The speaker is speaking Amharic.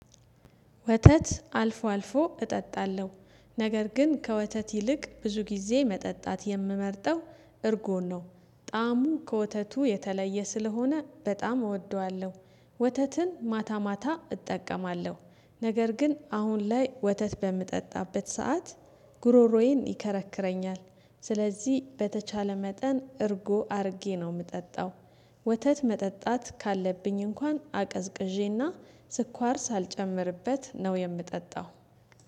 ወተት አልፎ አልፎ እጠጣለሁ ነገር ግን ከወተት ይልቅ ብዙ ጊዜ መጠጣት የምመርጠው እርጎ ነው ጣዕሙ ከወተቱ የተለየ ስለሆነ በጣም እወደዋለሁ። ወተትም ማታ ማታ እጠቀማለሁ ነገር ግን አሁን ላይ ወተት በምጠጣበት ሰዓት ጉሮሮዬን ይከረክረኛል ስለዚህ በተቻለ መጠን እርጎ አድርጌ ነው የምጠጣው። ወተት መጠጣት ካለብኝ እንኳን አቀዝቅዤና ስኳር ሳልጨምርበት ነው የምጠጣው።